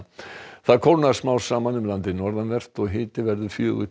það kólnar smám saman um landið norðanvert og hiti verður fjögur